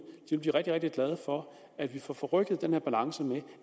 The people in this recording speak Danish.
vil blive rigtig rigtig glade for at vi får får rykket den her balance med